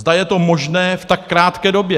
Zda je to možné v tak krátké době.